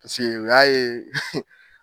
Paseke u y'a ye